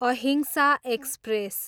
अहिंसा एक्सप्रेस